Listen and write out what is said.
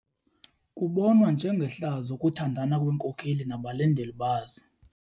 Kubonwa njengehlazo ukuthandana kweenkokeli nabalandeli bazo.